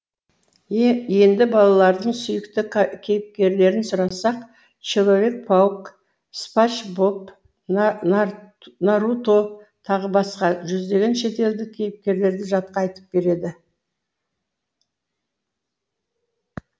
енді балалардың сүйікті кейіпкерлерін сұрасақ человек паук спанч боб наруто т б жүздеген шетелдік кейіпкерлерді жатқа айтып береді